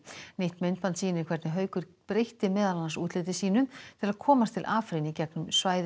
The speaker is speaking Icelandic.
nýtt myndband sýnir hvernig Haukur breytti meðal annars útliti sínu til að komast til Afrín í gegnum svæði